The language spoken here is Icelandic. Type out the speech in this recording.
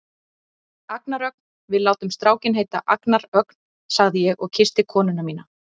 Agnar Ögn, við látum strákinn heita Agnar Ögn, sagði ég og kyssti konuna mína.